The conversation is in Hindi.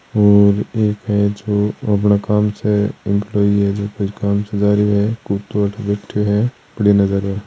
और एक है जो एम्प्लोयी है जो कोई काम से जा रियो है कुतो अठे बैठो है कड़ी नजर --